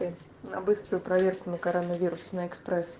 на быструю проверку на коронавирус на экспресс